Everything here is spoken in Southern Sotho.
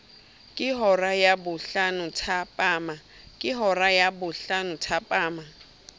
ke hora ya bohlano thapama